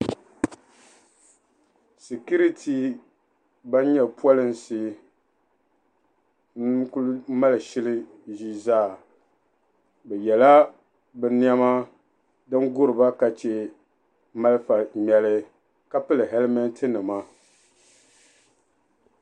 "Security" ban nyɛ polinsi n-kuli mali shili zaa be yela bɛ nɛma ban guriba ka che malifa ŋmɛli ka pili "helmet"nima.